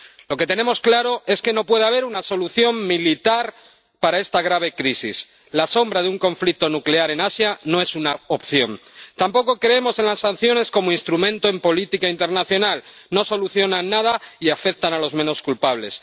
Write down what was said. Lo que tenemos claro es que no puede haber una solución militar para esta grave crisis. La sombra de un conflicto nuclear en Asia no es una opción. Tampoco creemos en las sanciones como instrumento en política internacional no solucionan nada y afectan a los menos culpables.